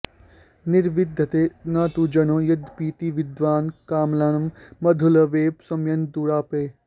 निर्विद्यते न तु जनो यदपीति विद्वान् कामानलं मधुलवैः शमयन् दुरापैः